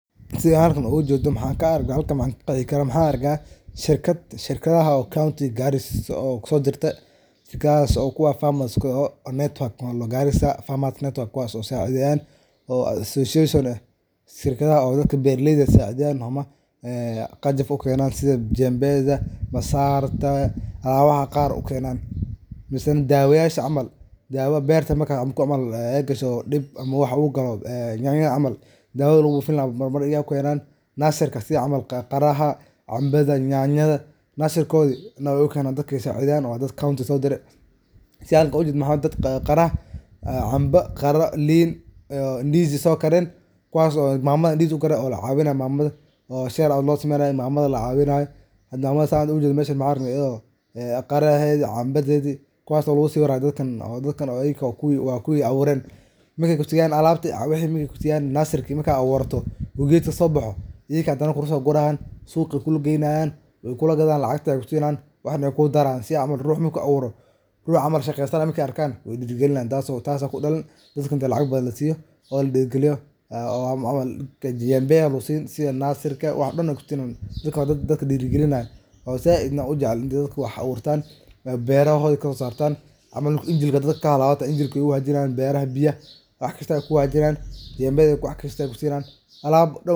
Sidhan halkan ka arko ama ka qexi karaa waxan arka shirkad oo shirkadaha countiga Garis kusodarte. Shirkadahas kuwas oo farmers, Garissa farmers network kuwas oo sacideyan ,oo association eh ,shirkadahas oo dadka beraleyda sacideyan ama qajaf u kenan sidha jembeda ,masarta alabaha qaar u kenan. Misena dawayasha camal, dawo markey berto ay gasho dib camal yanyada u galo dawoda lagu bufin laha u kenan, nasirka sidha camal, canbada, qaraha, yanyada nasirkodi dadka wey u kenenan waa dadka countiga sodire .Sidha hada sawirka oga jedo maxa waye canbo, qara ,lin, ndizi so karen kuwaso mamada ndizi sokaren oo lacawinayo ,hada mamada san meshan oga jedno maxa waye kuwaso qarahedi, canbadedhi kuwaso lagusawirayo dadkan waa kuwi awuren, markey kusiyan nasirki oo gedka sobaho iyaga hadana kulaa sogurayan suqa ay kulaa geynayan lacagta ay kusinayan waxna wey kugu darayan ,rux camal shaqeysanaya markey arkan wey diragalinayan tasa kudalani, dadka inta lacag badan lasiyo oo ladiragaliyo jembeyaha lagu sini sidha nasirka ,dadkan waa dad dadka diragalinayaa oo zaid u jecel iney wax aburtan oo berahodi wax kaso sartan camal haada dadku marku injilka kahalawo ,dadka wey u hagajinayan jembeda wax kasta ay kusinayan alab dhor ah.